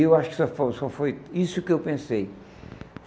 E eu acho que só foi só foi isso que eu pensei.